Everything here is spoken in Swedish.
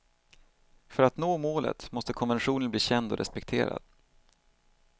För att nå målet måste konventionen bli känd och respekterad.